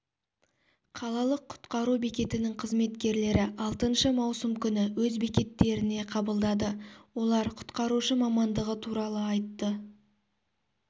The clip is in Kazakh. қалалық құтқару бекетінің қызметкерлері алтыншы маусым күні өз бекеттеріне қабылдады олар құтқарушы мамандығы туралы айтты